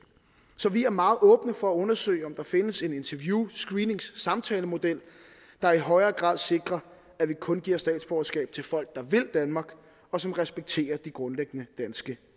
så vi er meget åbne for at undersøge om der findes en interview screeningssamtalemodel der i højere grad sikrer at vi kun giver statsborgerskab til folk der vil danmark og som respekterer de grundlæggende danske